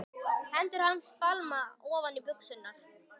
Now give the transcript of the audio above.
Hendur hans fálma ofan í buxurnar.